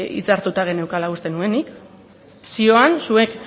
hitzartuta geneukala uste nuen nik zioan zuek